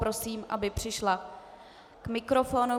Prosím, aby přišla k mikrofonu.